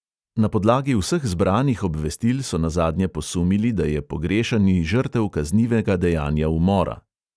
Na podlagi vseh zbranih obvestil so nazadnje posumili, da je pogrešani žrtev kaznivega dejanja umora.